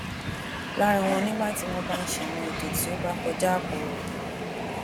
lara wọn nígbà tí wón ba ṣe àwọn ètò tí o bá kọja apo re